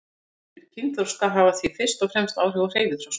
Lyftingar fyrir kynþroska hafa því fyrst og fremst áhrif á hreyfiþroska.